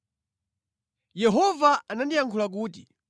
Yehova anandiyankhula kuti: